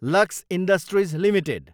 lux industries Ltd